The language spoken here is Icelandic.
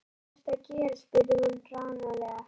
Hvað ertu að gera? spurði hún hranalega.